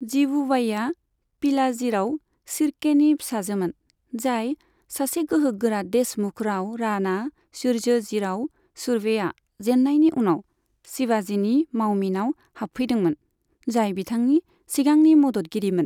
जिवुबाईआ पिलाजीराव शिर्केनि फिसाजोमोन, जाय सासे गोहोगोरा देशमुख राव राणा सूर्यजीराव सुर्वेआ जेननायनि उनाव शिवाजीनि मावमिनाव हाबफैदोंमोन, जाय बिथांनि सिगांनि मददगिरिमोन।